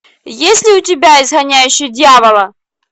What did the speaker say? есть ли у тебя изгоняющий дьявола